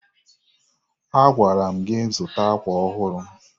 Agwara m gị zụta akwa ọhụrụ.